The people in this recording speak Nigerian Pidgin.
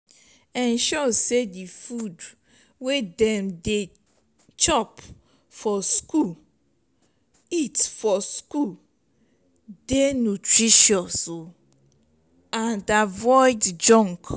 ensure sey di food wey dem dey eat for school eat for school dey nutritious and avoid junk